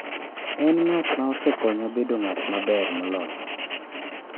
En ng’at ma osekonya bedo ng’at maber moloyo.